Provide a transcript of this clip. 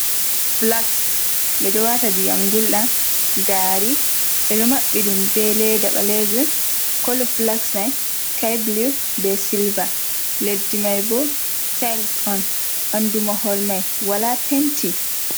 Flags ɓeɗo wata ndiyam gulɗam gari ɓeɗo mabbi ɗum be leda ɓalejum kolo flags mai sky blu be silver leddi mai bo tils on ɓandu mahol mai wala penti.